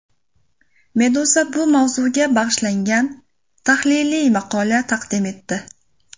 Meduza bu mavzuga bag‘ishlangan tahliliy maqola taqdim etdi .